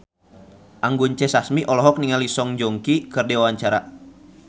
Anggun C. Sasmi olohok ningali Song Joong Ki keur diwawancara